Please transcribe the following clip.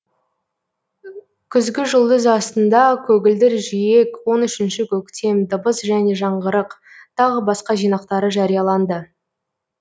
күзгіжұлдыз астында көгілдір жиек он үшінші көктем дыбыс және жаңғырық тағы басқа жинақтары жарияланды